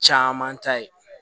Caman ta ye